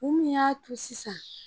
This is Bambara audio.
U min y'a to sisan